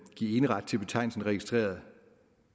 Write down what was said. give eneret til betegnelsen registreret